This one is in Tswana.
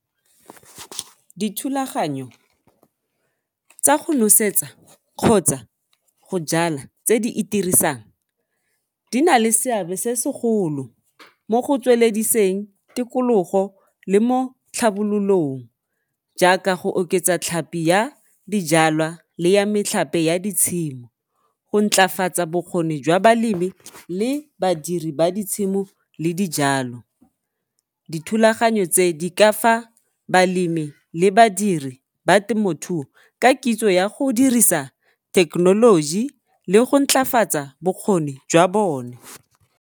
Dithulaganyo tsa go nosetsa kgotsa go jala tse di itirisang di na le seabe se segolo mo go tswelediseng tikologo le mo tlhabololong jaaka go oketsa tlhapi ya dijalwa le ya metlhape ya ditshimo, go ntlafatsa bokgoni jwa balemi le badiri ba ditshimo le dijalo. Dithulaganyo tse di ka fa balemi le badiri ba temothuo ka kitso ya go dirisa thekenoloji le go ntlafatsa bokgoni jwa bone.